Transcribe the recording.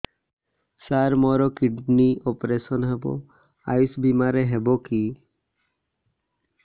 ସାର ମୋର kidney operation ହେବ ଆୟୁଷ ବିମାରେ ହେବ କି